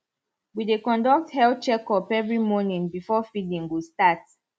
we dey conduct health check up every morning before feeding go start